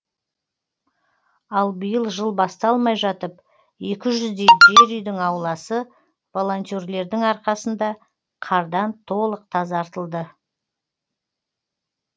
ал биыл жыл басталмай жатып екі жүздей жер үйдің ауласы волонтерлердің арқасында қардан толық тазартылды